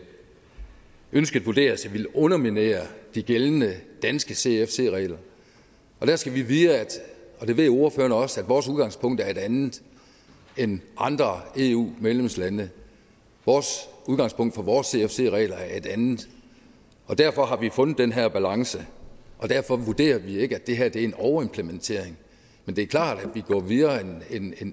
ønsket vurderes at ville underminere de gældende danske cfc regler der skal vi vide og det ved ordføreren også at vores udgangspunkt er et andet end andre eu medlemslandes vores udgangspunkt for vores cfc regler er et andet og derfor har vi fundet den her balance og derfor vurderer vi ikke at det her er en overimplementering men det er klart at vi går videre